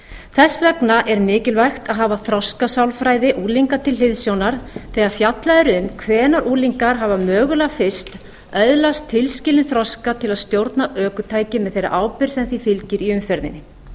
þess vegna er mikilvægt að hafa þroskasálfræði unglinga til hliðsjónar þegar fjallað er um hvenær unglingar hafa mögulega fyrst öðlast tilskilinn þroska til að stjórna ökutæki með þeirri ábyrgð sem því fylgir í umferðinni